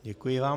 Děkuji vám.